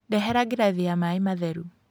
Ndehera ngirathi ya maĩ matheru